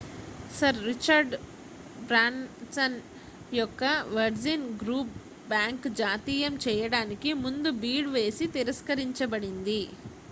sir Richard Branson యొక్క Virgin group bank జాతీయం చేయడానికి ముందు బిడ్ వేసి తిరస్కరించబడింది